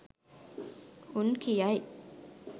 උන් කියයි